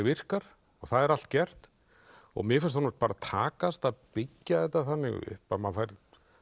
virkar og það er allt gert og mér finnst honum takast að byggja þetta þannig upp að maður fær